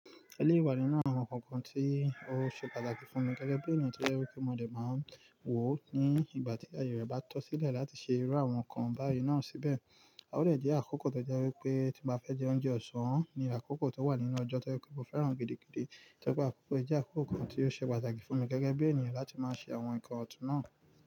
Eléyi ìwà nínú àwọn nkankan tí ó ṣe pàtàkì fún mi gẹ́gẹ́ bí ènìyàn tí ó yẹ kó mọ̀ọ́ dà máa ń wò ó ní ìgbà tí ayé rẹ̀ bá tọ́ sílẹ̀ láti ṣe irú àwọn nǹkan báyìí náà síbẹ̀. A o lè jẹ́ àkókò tó jẹ́ wípé tí mo fẹ́ jẹ oúnjẹ ọ̀sán, ni àkókò tó wà nínú ọjọ́ tó jẹ́ kó mo fẹ́ràn gidi gidì, tẹ́gbà á kókò ẹ jẹ́ àkókò kan tí yóò ṣe pàtàkì fún mi gẹ́gẹ́ bí ènìyàn láti máa ṣe àwọn nǹkan ọ̀tún náà.